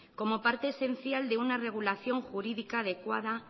como parte esencial de una regulación jurídica adecuada